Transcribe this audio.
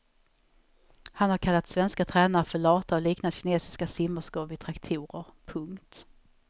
Han har kallat svenska tränare för lata och liknat kinesiska simmerskor vid traktorer. punkt